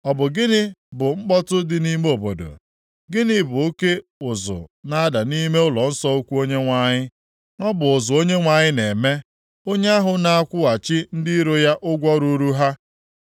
Ọ bụ gịnị bụ mkpọtụ dị nʼime obodo? Gịnị bụ oke ụzụ na-ada nʼime ụlọnsọ ukwu Onyenwe anyị? Ọ bụ ụzụ Onyenwe anyị na-eme. Onye ahụ na-akwụghachi ndị iro ya ụgwọ ruuru ha.